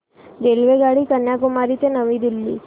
रेल्वेगाडी कन्याकुमारी ते नवी दिल्ली